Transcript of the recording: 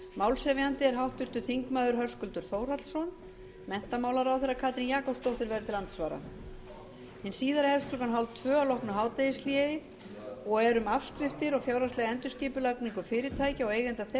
málshefjandi er háttvirtur þingmaður höskuldur þórhallsson menntamálaráðherra katrín jakobsdóttir verður til andsvara hin síðari hefst klukkan eitt þrjátíu að loknu hádegishléi og er um afskriftir og fjárhagslega endurskipulagningu fyrirtækja og eigenda þeirra hjá